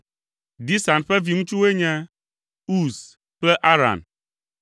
Disan ƒe viŋutsuwoe nye: Uz kple Aran.